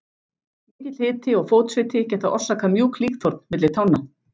Mikill hiti og fótsviti geta orsakað mjúk líkþorn milli tánna.